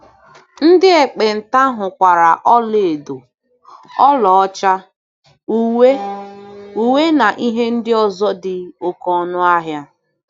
Ndị ekpenta hụkwara ọlaedo, ọlaọcha, uwe, uwe, na ihe ndị ọzọ dị oké ọnụ ahịa.